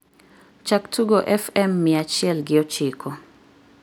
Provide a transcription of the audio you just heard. chak tugo f.m. mia achiel gi ochiko